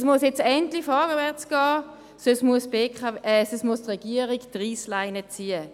Es muss nun endlich vorwärtsgehen, sonst muss die Regierung die Reissleine ziehen.